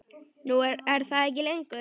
Nú er það ekki lengur.